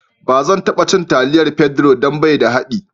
Ba zan kara cin taliyar Pedro don bai da daɗi..